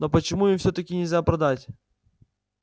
но почему им всё-таки нельзя продать